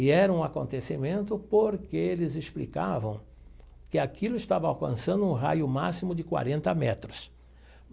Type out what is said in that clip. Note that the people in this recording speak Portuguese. E era um acontecimento porque eles explicavam que aquilo estava alcançando um raio máximo de quarenta metros.